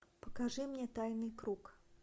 покажи мне тайный круг